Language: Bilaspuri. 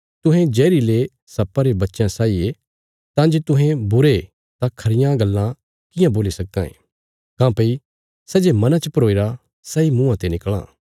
तुहें जहरीले सप्पा रे बच्चयां साई ये तां जे तुहें बुरे तां खरियां गल्लां कियां बोल्ली सक्कां ये काँह्भई सै जे मना च भरोईरा सैई मुँआं ते निकल़ां